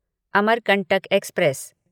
Amarkantak express